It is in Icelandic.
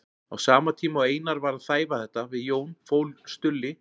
Á sama tíma og Einar var að þæfa þetta við Jón fól Stulli